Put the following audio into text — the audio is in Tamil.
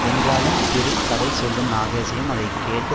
என்றாலும் த்ரில் கதை சொல்லும் நாகேஷையும் அதை கேட்டு